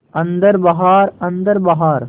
अन्दर बाहर अन्दर बाहर